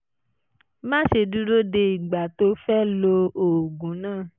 má ṣe dúró de ìgbà tó o fẹ́ lo oògùn náà